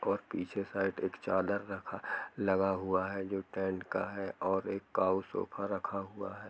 और पीछे साइड एक चादर रखा लगा हुआ है जो टेंट का है और एक काउ सोफा रखा हुआ है।